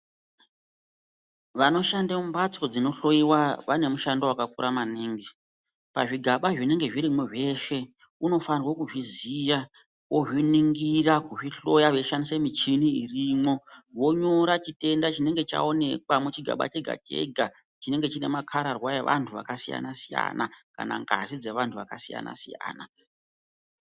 Vanoshande mumhatso dzinohloyiwa vane mushando wakakura maningi pazvigaba zvinenge zvirimwo zveshe unofanire kuzviziya ozviningira kuzvihloya veishandise michini inonga irimwo vonyora chitenda chinenge chaonekwa muchigaba chega chega chinenge chinemakararwa evanhu vakasiyanasiyana kana ngazi dzevanhu vakasiyanasiyana.